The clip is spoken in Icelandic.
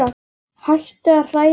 Hættu að hræða mig burt.